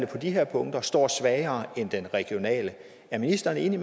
på de her punkter står svagere end den regionale er ministeren enig